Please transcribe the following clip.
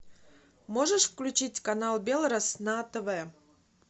можешь включить канал белрос на тв